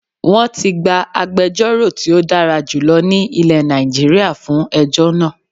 Wọ́n ti gba agbejórò tí ó dára jùlọ ní ilẹ̀ Nàìjíríà fún ejọ́ náà